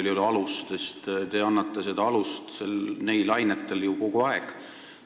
Te nimelt annate neil ainetel kahtlusteks alust ju kogu aeg.